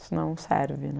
Isso não serve, né?